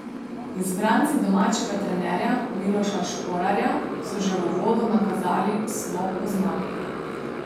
Izbranci domačega trenerja Miloša Šporarja so že v uvodu nakazali slo po zmagi.